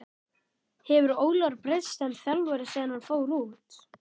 Hefur Ólafur breyst sem þjálfari síðan hann fór út?